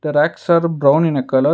racks are brown in colour.